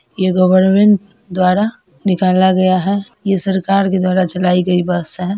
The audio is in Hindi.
ये गवर्नमेंट द्वारा निकाला गया है ये सरकार के द्वारा चलाई गई बस है।